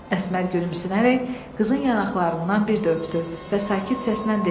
Əsmər gülümsünərək qızın yanaqlarından bir də öpdü və sakit səslə dedi: